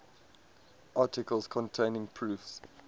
articles containing proofs